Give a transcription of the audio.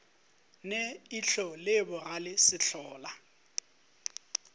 ne ihlo le bogale sehlola